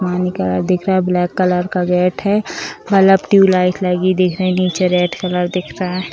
पानी का दिख रहा है ब्लैक कलर का गेट है बल्ब ट्यूब लाइट लगी दिख रही नीचे रेड कलर दिख रहा।